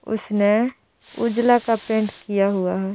उसने उजला का पैंट किया हुआ हे ।